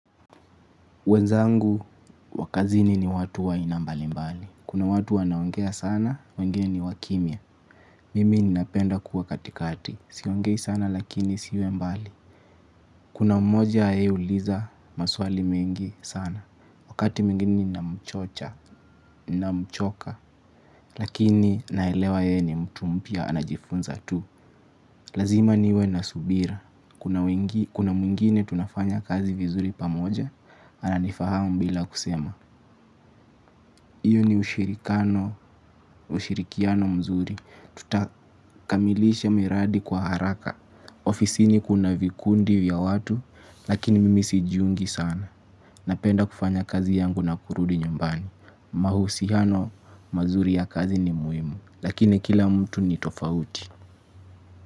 Wenzangu wa kazini ni watu wa aina mbalimbali. Kuna watu wanaongea sana, wengine ni wa kimya. Mimi ninapenda kuwa katikati. Siongei sana lakini siwe mbali. Kuna mmoja ye huuliza maswali mengi sana. Wakati mwingine ninamchocha, namchoka. Lakini naelewa ye ni mtu mpya anajifunza tu. Lazima niwe na subira. Kuna mwingine tunafanya kazi vizuri pamoja, ananifahamu bila kusema. Iyo ni ushirikiano mzuri. Tutakamilisha miradi kwa haraka. Ofisini kuna vikundi vya watu, lakini mimi sijiungi sana. Napenda kufanya kazi yangu na kurudi nyambani. Mahusiano, mazuri ya kazi ni muhimu. Lakini kila mtu ni tofauti.